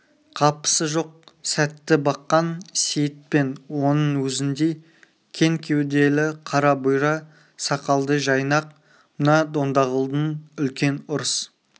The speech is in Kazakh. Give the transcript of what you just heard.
қапысы жоқ сәтті баққан сейіт пен оның өзіндей кең кеуделі қара бұйра сақалды жайнақ мына дондағұлдың үлкен ұрыс